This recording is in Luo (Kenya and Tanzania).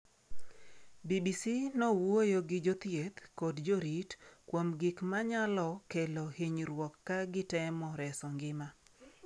BBC nowuoyo gi jothieth kod jorit kuom gik ma nyalo kelo hinyruok ka gitemo reso ngima.